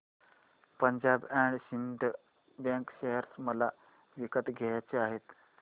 Punjab and Sind bank share मला विकत घ्यायचे आहेत